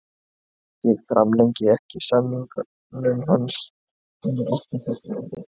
Ég framlengi ekki samningnum hans, hann er ekki þess virði.